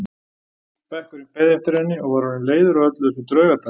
Bekkurinn beið eftir henni og var orðinn leiður á öllu þessu draugatali.